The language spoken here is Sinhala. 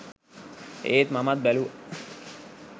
ඒත් මමත් බැලුවා